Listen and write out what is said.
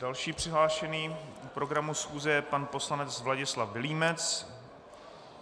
Dalším přihlášeným k programu schůze je pan poslanec Vladislav Vilímec.